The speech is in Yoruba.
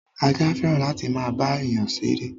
Ajá fẹ́ràn láti máa bá èyán ṣeré.